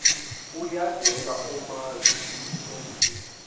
uyadela omazi ebuntombini